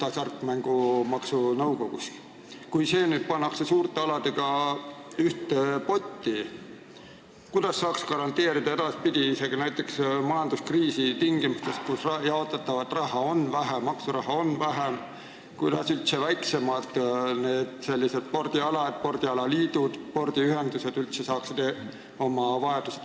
Kui need väiksemad spordialad, spordialaliidud ja -ühendused, pannakse nüüd suurte aladega ühte potti, siis kuidas nemad saavad üldse edaspidi – isegi näiteks majanduskriisi tingimustes, kus jaotatavat maksuraha on vähem – oma vajadusi katta, kuskilt midagi taotleda?